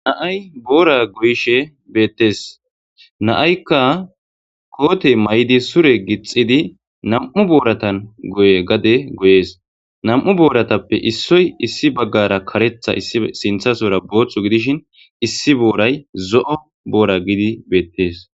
Na'ay Bora goyishe betes na'ayka kote mayidi sure gixidi nam'u boratan gade goyes nam'u boratape issoy issi bagara karetha Sinthasora Botha gidishin issi boray zo'o Bora gidi betes